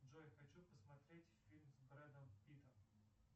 джой хочу посмотреть фильм с брэдом питтом